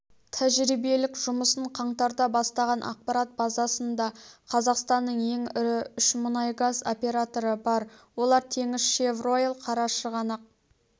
тәжірибелік жұмысын қаңтарда бастаған ақпарат базасында қазақстанның ең ірі үш мұнай-газ операторы бар олар теңізшевройл қарашығанақ